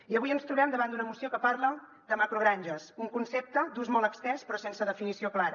i avui ens trobem davant d’una moció que parla de macrogranges un concepte d’ús molt estès però sense definició clara